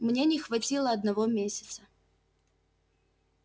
мне не хватило одного месяца